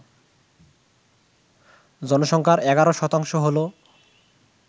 জনসংখ্যার ১১% হল